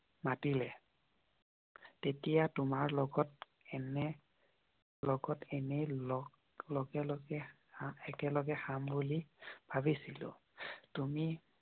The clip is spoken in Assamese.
মতিলে তেতিয়া তোমাৰ লগত এনে লগল লগে লগে একেলগে খাম বুলি ভাবিছিলো। তুমি মাতিলে